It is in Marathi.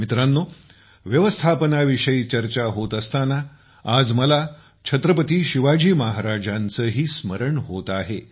मित्रांनो व्यवस्थापनाविषयी चर्चा होत असताना आज मला छत्रपती शिवाजी महाराजांचेही स्मरण होत आहे